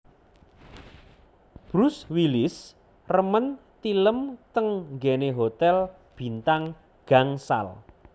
Bruce Willis remen tilem teng nggene hotel bintang gangsal